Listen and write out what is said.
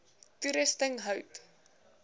toerusting hout